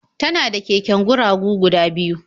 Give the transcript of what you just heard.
Tana da keken guragu guda biyu.